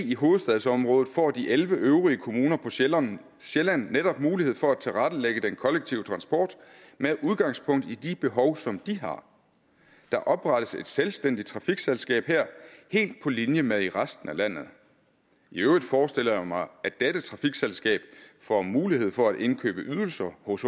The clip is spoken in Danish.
i hovedstadsområdet får de elleve øvrige kommuner på sjælland sjælland netop mulighed for at tilrettelægge den kollektive transport med udgangspunkt i de behov som de har der oprettes et selvstændigt trafikselskab her helt på linje med i resten af landet i øvrigt forestiller jeg mig at dette trafikselskab får mulighed for at indkøbe ydelser hos